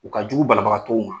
U ka jugu banabaga tɔw ma